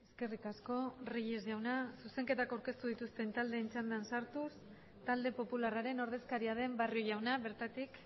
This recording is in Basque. eskerrik asko reyes jauna zuzenketak aurkeztu dituzten taldeen txandan sartuz talde popularraren ordezkaria den barrio jauna bertatik